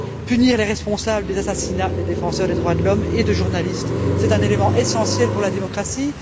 Punir les responsables des assassinats de défenseurs des droits de l'homme et de journalistes, c'est un élément essentiel pour la démocratie.